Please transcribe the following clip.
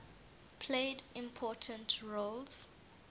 played important roles